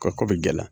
Ka ko bɛ gɛlɛya